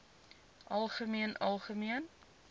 algemeen algemeen